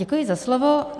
Děkuji za slovo.